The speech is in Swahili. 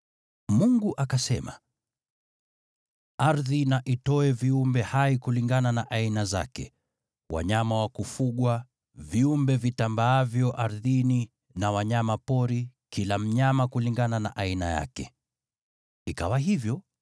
Mungu akasema, “Ardhi na itoe viumbe hai kulingana na aina zake: wanyama wa kufugwa, viumbe vitambaavyo ardhini na wanyama pori, kila mnyama kulingana na aina yake.” Ikawa hivyo.